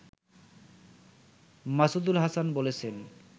মাসুদুল হাসান বলছেন